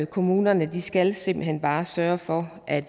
kommunerne skal simpelt hen bare sørge for at